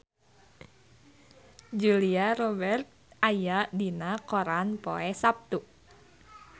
Julia Robert aya dina koran poe Saptu